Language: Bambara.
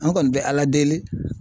An kɔni bɛ ALA deli.